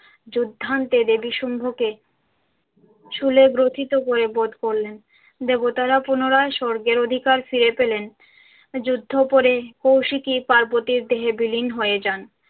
যুদ্ধান্তে দেবী শুম্ভকে শূলে গ্রথিত করে বধ করলেন। দেবতারা পুনরায় স্বর্গের অধিকার ফিরে পেলেন। যুদ্ধ পরে কৌশিকী পার্বতীর দেহে বিলীন হয়ে যান।